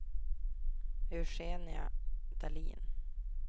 Eugenia Dahlin